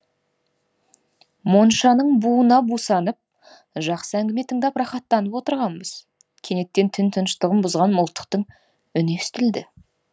моншаның буына бусанып жақсы әңгіме тыңдап рахаттанып отырғанбыз кенеттен түн тыныштығын бұзған мылтықтың үні естілді